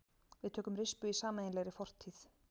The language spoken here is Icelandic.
Við tökum rispu í sameiginlegri fortíð.